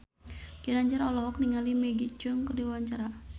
Ginanjar olohok ningali Maggie Cheung keur diwawancara